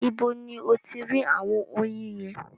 Ibo ni o ti rí àwọn oyin yẹn?